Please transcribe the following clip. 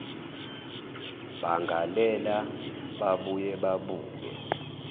bangalela babuye babuke